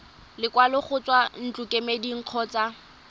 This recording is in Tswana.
lekwalo go tswa ntlokemeding kgotsa